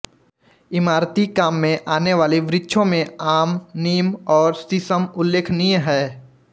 इमारती काम में आने वाले वृक्षों में आम नीम और शीसम उल्लेखनीय हैं